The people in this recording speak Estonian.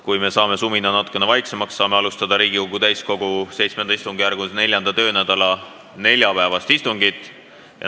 Kui me saame sumina natuke vaiksemaks, saame alustada Riigikogu täiskogu VII istungjärgu 4. töönädala neljapäevast istungit.